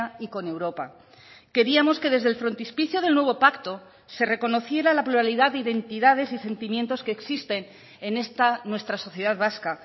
y con europa queríamos que desde el frontispicio del nuevo pacto se reconociera la pluralidad de identidades y sentimientos que existen en esta nuestra sociedad vasca